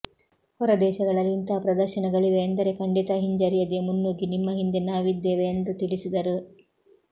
ಹೊರದೇಶಗಳಲ್ಲಿ ಇಂತಹ ಪ್ರದರ್ಶನಗಳಿವೆ ಎಂದರೆ ಖಂಡಿತ ಹಿಂಜರಿಯದೇ ಮುನ್ನುಗ್ಗಿ ನಿಮ್ಮ ಹಿಂದೆ ನಾವಿದ್ದೇವೆ ಎಂದು ತಿಳಿಸಿದರು